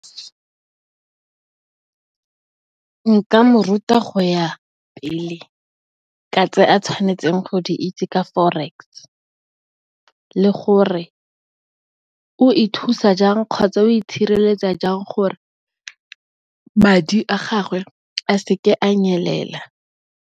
Nka mo ruta go ya pele ka tse a tshwanetseng go di itse ka Forex, le gore o e thusa jang, kgotsa o itshireletsa jang gore madi a gagwe a seke a nyelela.